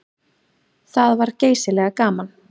Það var geysilega gaman.